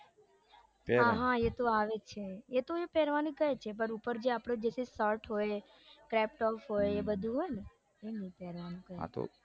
હા હા એતો આવે જ છે એતો એ પેરવાનું કે છે પણ ઉપોર જે આપણું જે shirt હોય એ બધું હોય ને એ બધું નઈ પેરવાનું